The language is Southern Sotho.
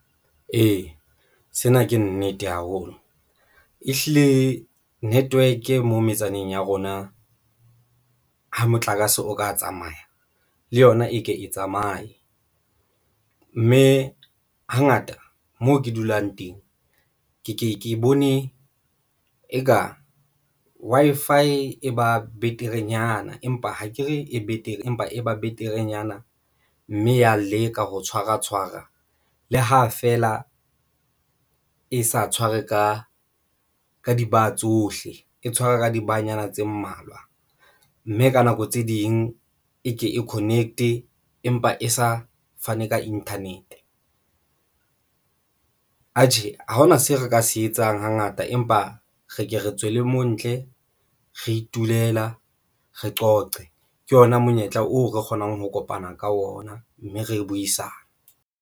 Ee, sena ke nnete haholo e hlile network mo metsaneng ya rona ha motlakase o ka tsamaya le yona e ke e tsamaye mme hangata moo ke dulang teng, ke ke ke bone eka Wi-Fi e ba beterenyana empa ha ke re e betere empa e ba beterenyana mme ya leka ho tshwara tshwara le ha feela e sa tshware ka di-bar tsohle, e tshwara ka di-bar-nyana tse mmalwa mme ka nako tse ding e ke e connect empa e sa fane ka internet. Atjhe, ha hona seo re ka se etsang hangata empa re ke re tswele montle re itulela re qoqe ke ona monyetla oo re kgonang ho kopana ka ona mme re buisane.